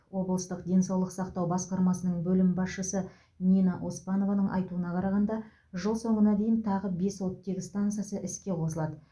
облыстық денсаулық сақтау басқармасының бөлім басшысы нина оспанованың айтуына қарағанда жыл соңына дейін тағы бес оттегі стансасы іске қосылады